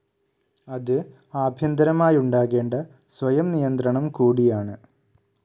അത് ആഭ്യന്തരമായുണ്ടാകേണ്ട സ്വയംനിയന്ത്രണം കൂടിയാണ്.